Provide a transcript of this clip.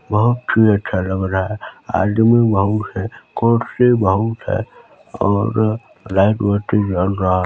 बहुत ही अच्छा लग रहा है आदमी बहुत है कुर्सी बहुत है और लाइट वाइट् भी जल रहा हैं।